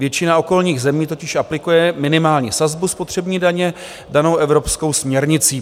Většina okolních zemí totiž aplikuje minimální sazbu spotřební daně danou evropskou směrnicí.